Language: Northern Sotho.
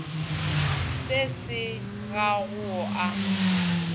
se se ga go a